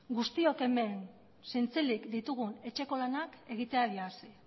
guztiok hemen zintzilik ditugun etxeko lanak egiteari hasi